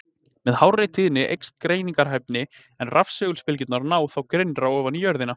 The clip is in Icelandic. Með hárri tíðni eykst greiningarhæfnin, en rafsegulbylgjurnar ná þá grynnra ofan í jörðina.